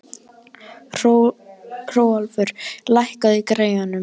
Hrólfur, lækkaðu í græjunum.